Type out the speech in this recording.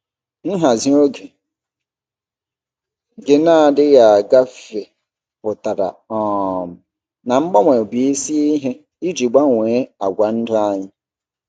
Nhazi oge gị na-adịghị agafe pụtara um na mgbanwe bụ isi ihe iji gbanwee àgwà ndụ anyị.